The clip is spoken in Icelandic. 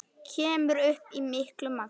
Kemur upp í miklu magni.